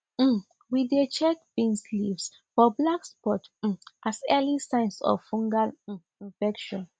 um we dey check bean leaves for black spots um as early signs of fungal um infection